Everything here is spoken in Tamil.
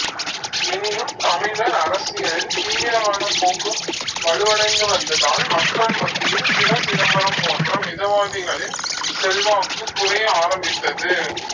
எனினும் தமிழர் அரசியலில் தீவிரவாதப் போக்கு வலுவடைந்து வந்ததால் மக்கள் மத்தியில் சிவசிதம்பரம் போன்ற மிதவாதிகளில் செல்வாக்குக் குறைய ஆரம்பித்தது